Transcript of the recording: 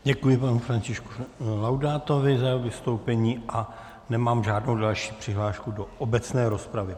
Děkuji panu Františku Laudátovi za jeho vystoupení a nemám žádnou další přihlášku do obecné rozpravy.